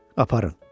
Aparın.